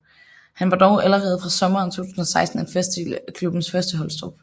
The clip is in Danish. Han var dog allerede fra sommeren 2016 en fast del af klubbens førsteholdstrup